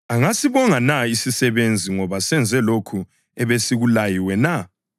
Angasibonga na isisebenzi ngoba senze lokho ebesikuyaliwe na?